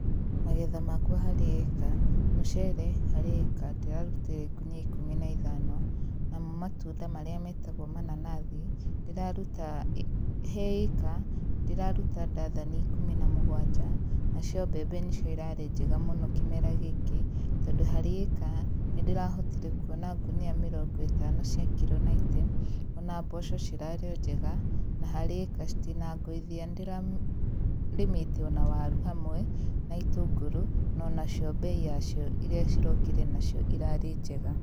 Magetha makwa harĩ ĩĩka, mũcere harĩ ĩĩka ndĩrarutire ngunia ikũmi na ithano, namo matunda marĩa metagwo mananathi ndĩraruta he ĩĩka ndĩraruta ndathani ikũmi na mũgwanja, nacio mbembe nĩcio irarĩ njega mũno kĩmera gĩkĩ tondũ harĩ ĩĩka nĩ ndĩrahotire kuona ngũnia mĩrongo ĩtano cia kiro naite, ona mboco cirarĩ o njega na harĩ ĩĩka citinanguthia. Nĩ ndĩrarĩmĩte waru hamwe na itũngũrũ no onacio mbei yacio irĩa cirokire nacio ĩrarĩ njega.